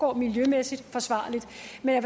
men